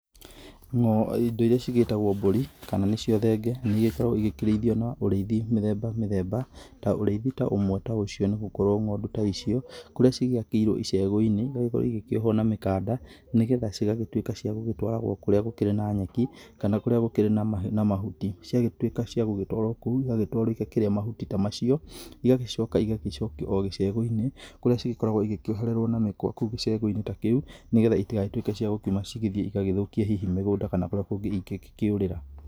Indo iria cigĩtagwo mbũri kana nĩ cio thenge iria ikoragwo ikĩrĩithio na ũrĩithi mĩthemba mĩthemba, ta ũrĩithi ta ũmwe ta ũcio nĩ gũkorwo, ng'ondu ta icio kurĩa cigĩakĩirwo icegu-inĩ. Nĩ iragĩkorwo igĩkĩohwo na mĩkanda nĩ getha cigagĩtuĩka cia gũgĩtwaragwo kũrĩa gũkĩrĩ na nyeki kana kũrĩa gũkĩrĩ na mahuti. Ciatuĩka cia gũgĩtwarwo kũu, igagĩtwarwo igakĩrĩe mahuti ta macio. Igagĩcoka igagĩcokio gĩcegũ-inĩ kũrĩa cigĩkoragwo igĩkĩohererwo na mĩkwa kũu gĩcegũ-inĩ ta kĩu nĩ getha itigagĩtuĩke cia gũkiuma igathiĩ igagĩthũkie hihi mĩgũnda kana kũrĩa kũngĩ ingĩgĩkĩũrĩra.